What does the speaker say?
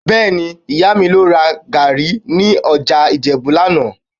Bẹ́ẹ̀ni, Ìyá mi lọ ra gàárì ní ọjà Ìjẹ̀bú lánàá